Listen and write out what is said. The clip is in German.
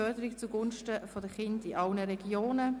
Förderung zu Gunsten der Kinder in allen Regionen!»